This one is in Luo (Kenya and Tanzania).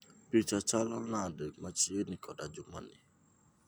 Picha chalo nade machiegni koda juma ni